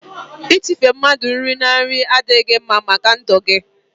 itife mmadụ nri na nri adịghị mma màkà ndụ gị.